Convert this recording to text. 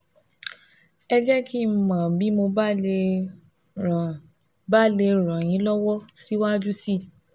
Ẹ jẹ́ kí n mọ̀ bí mo bá lè ràn bá lè ràn yín lọ́wọ́ síwájú sí i